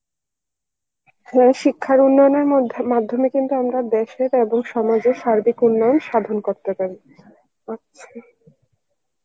হ্যাঁ শিক্ষার উন্নয়নের মধ্যে~ মাধ্যমে কিন্তু আমরা দেশের এবং সমাজের সার্বিক উন্নয়ন সাধন করতে পারি, আচ্ছা